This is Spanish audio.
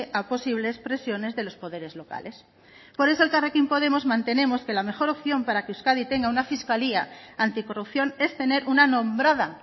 a posibles presiones de los poderes locales por eso elkarrekin podemos mantenemos que la mejor opción para que euskadi tenga una fiscalía anticorrupción es tener una nombrada